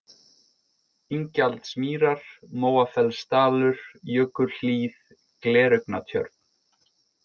Ingjaldsmýrar, Móafellsdalur, Jökulhlíð, Gleraugnatjörn